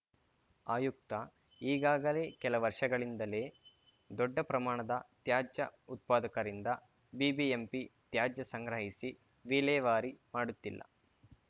ಆಯುಕ್ತ ಈಗಾಗಲೇ ಕೆಲ ವರ್ಷಗಳಿಂದಲೇ ದೊಡ್ಡ ಪ್ರಮಾಣದ ತ್ಯಾಜ್ಯ ಉತ್ಪಾದಕರಿಂದ ಬಿಬಿಎಂಪಿ ತ್ಯಾಜ್ಯ ಸಂಗ್ರಹಿಸಿ ವಿಲೇವಾರಿ ಮಾಡುತ್ತಿಲ್ಲ